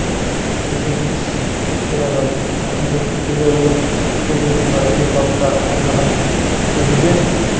президентіміз сайланған қасым жомарт кемелұлы өзінің мына ел халыққа арнаған сөзінде